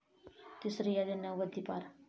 तिसरी यादी नव्वदीपार